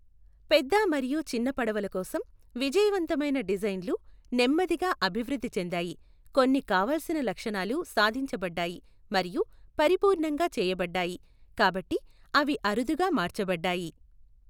పెద్ద మరియు చిన్న పడవలు కోసం విజయవంతమైన డిజైన్లు నెమ్మదిగా అభివృద్ధి చెందాయి, కొన్ని కావాల్సిన లక్షణాలు సాధించబడ్డాయి మరియు పరిపూర్ణంగా చేయబడ్డాయి కాబట్టి అవి అరుదుగా మార్చబడ్డాయి.